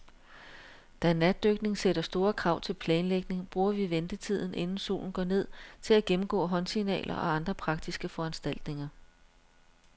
Da natdykning sætter store krav til planlægning, bruger vi ventetiden, inden solen går ned, til at gennemgå håndsignaler og andre praktiske foranstaltninger.